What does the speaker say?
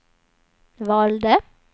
valde